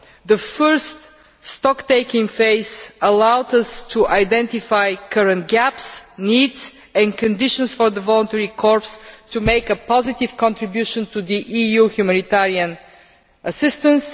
The first stocktaking phase allowed us to identify current gaps, needs and conditions for the voluntary corps to make a positive contribution to EU humanitarian assistance.